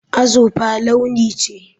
Azurfa launi ce.